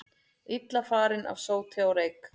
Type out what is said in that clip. Illa farin af sóti og reyk